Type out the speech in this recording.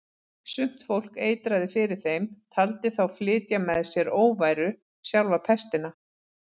Sumt fólk eitraði fyrir þeim, taldi þá flytja með sér óværu, sjálfa pestina.